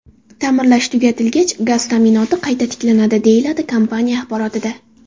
Ta’mirlash tugatilgach, gaz ta’minoti qayta tiklanadi”, deyiladi kompaniya axborotida.